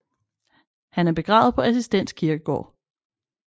Han er begravet på Assistens Kirkegård